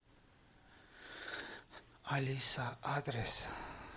алиса адрес